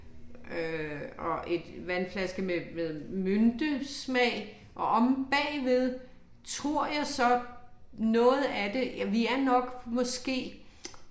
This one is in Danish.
Øh og et vandflaske med med myntesmag, og omme bagved tror jeg så noget af det vi er nok måske